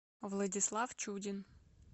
владислав чудин